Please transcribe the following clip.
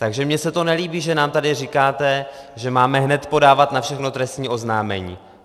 Takže mně se to nelíbí, že nám tady říkáte, že máme hned podávat na všechno trestní oznámení.